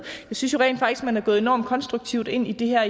jeg synes jo rent faktisk at man er gået enormt konstruktivt ind i det her